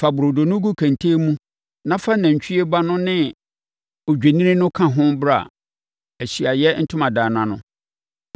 Fa burodo no gu kɛntɛn mu na fa nantwie ba no ne odwennini no ka ho bra Ahyiaeɛ Ntomadan no ano.